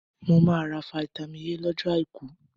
Mo máa ra fitami A lọ́jọ́ àìkú.